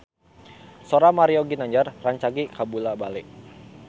Sora Mario Ginanjar rancage kabula-bale